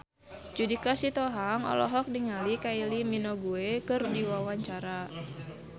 Judika Sitohang olohok ningali Kylie Minogue keur diwawancara